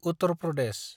Uttar Pradesh